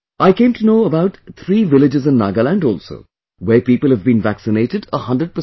I came to know about three villages in Nagaland also where people have been vaccinated a 100 percent